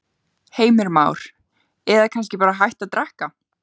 Heimir Már: Eða kannski bara hætta að drekka?